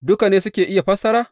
Duka ne suke iya fassara?